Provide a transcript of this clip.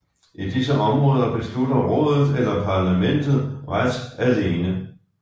I disse områder beslutter Rådet eller Parlamentet ret alene